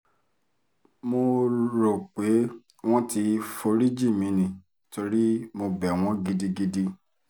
mo rò pé wọ́n ti forí jì mí ni torí mo bẹ̀ wọ́n gidigidi